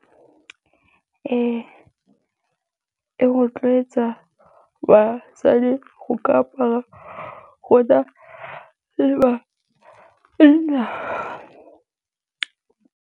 Ee, e rotloetsa basadi go ka apara go na le ba .